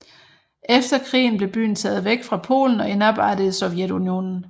Efter krigen blev byen taget væk fra Polen og indarbejdet i Sovjetunionen